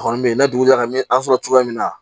A kɔni bɛ yen n'a dugujɛ a bɛ an sɔrɔ cogoya min na